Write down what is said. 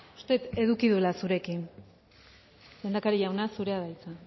uste dut eduki duela zurekin lehendakari jauna zurea da hitza